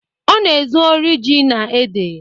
Ọ na-ezu ori ji na ede.